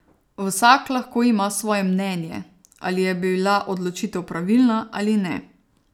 Vsak lahko ima svoje mnenje, ali je bila odločitev pravilna ali ne.